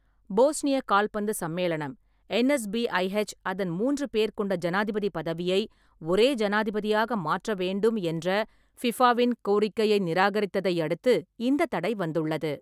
போஸ்னிய கால்பந்து சம்மேளனம் (என்.எஸ்.பி.ஐ.எச்) அதன் மூன்று பேர் கொண்ட ஜனாதிபதி பதவியை ஒரே ஜனாதிபதியாக மாற்ற வேண்டும் என்ற ஃபிஃபாவின் கோரிக்கையை நிராகரித்ததை அடுத்து இந்த தடை வந்துள்ளது.